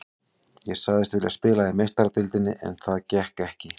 Ég sagðist vilja spila í Meistaradeildinni en það gekk ekki.